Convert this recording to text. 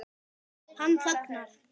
Hann þagnar.